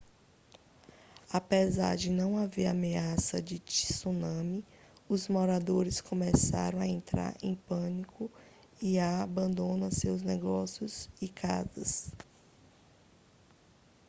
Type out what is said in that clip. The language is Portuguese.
apesar de não haver ameaça de tsunami os moradores começaram a entrar em pânico e a abandonar os seus negócios e casas